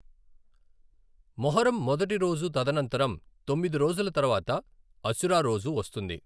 మొహర్రం మొదటి రోజు తదనంతరం తొమ్మిది రోజుల తర్వాత అశురా రోజు వస్తుంది.